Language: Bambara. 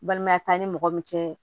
Balimaya t'an ni mɔgɔ min cɛ